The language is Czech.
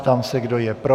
Ptám se, kdo je pro.